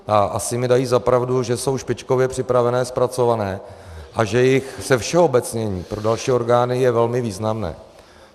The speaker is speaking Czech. A asi mi dají za pravdu, že jsou špičkově připravené, zpracované a že jejich zevšeobecnění pro další orgány je velmi významné.